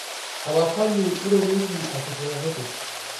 tapasali irorieki akitiakiti